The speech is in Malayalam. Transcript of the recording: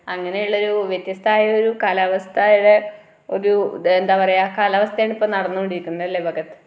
അങ്ങനെയുള്ളൊരു വത്യസ്ഥമായൊരു കലാവസ്ഥയുടെ ഒരു എന്താ പറയുക കാലാവസ്ഥയാണ് ഇപ്പൊ നടന്നുകൊണ്ടിരിക്കുന്നത് അല്ലെ ഭഗത്